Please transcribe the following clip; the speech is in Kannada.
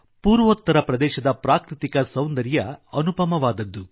ಪೂರ್ವೋತ್ತರ ಪ್ರದೇಶದ ಪ್ರಾಕೃತಿಕ ಸೌಂದರ್ಯ ಅನುಪಮವಾದದ್ದು